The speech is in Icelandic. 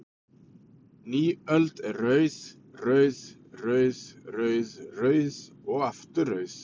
Ný öld er rauð, rauð, rauð, rauð, rauð og aftur rauð?